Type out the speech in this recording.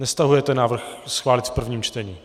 Nestahujete návrh schválit v prvním čtení.